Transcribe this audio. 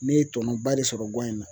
Ne ye tɔnɔ ba de sɔrɔ guwan in na